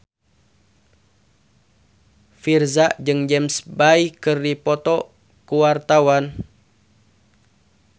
Virzha jeung James Bay keur dipoto ku wartawan